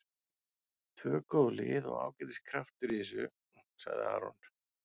Tvö góð lið og ágætis kraftur í þessu, sagði Aron.